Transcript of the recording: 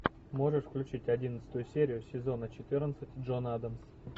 можешь включить одиннадцатую серию сезона четырнадцать джон адамс